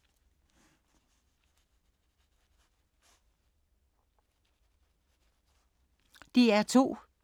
DR2